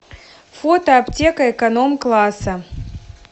фото аптека эконом класса